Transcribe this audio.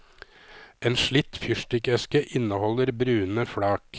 En slitt fyrstikkeske inneholder brune flak.